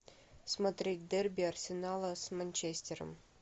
смотреть дерби арсенала с манчестером